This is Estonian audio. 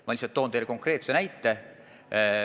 Ma toon teile konkreetse näite.